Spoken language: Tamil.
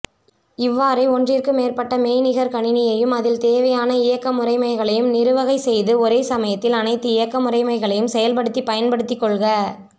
இவ்வாறே ஒன்றிற்கு மேற்பட்ட மெய்நிகர்கணினியையும் அதில் தேவையான இயக்கமுறைமைகளையும் நிறுவகை செய்து ஒரேசமயத்தில் அனைத்து இயக்கமுறைமைகளையும் செயல்படுத்தி பயன்படுத்திகொள்க